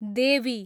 देवी